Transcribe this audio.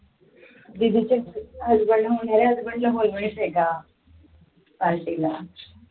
का party ला